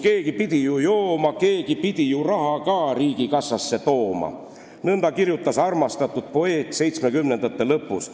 Keegi pidi ju jooma, keegi pidi ju raha ka riigikassasse tooma," kirjutas armastatud poeet 1970. aastate lõpus.